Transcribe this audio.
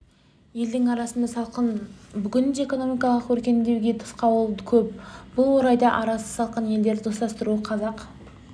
елдің арасы салқын бүгінде экономикалық өркендеуге тосқауыл көп бұл орайда арасы салқын елдерді достастыруда қазақ